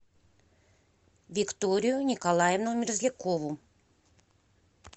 викторию николаевну мерзлякову